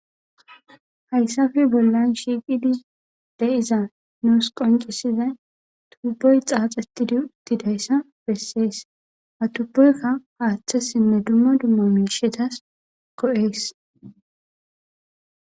Haysape bolan shiqidi de'iza nus qonc'isizay tuboy xaxetidi utidaysa beses ha tuboyka hatesinne duma duma mishatas go'es.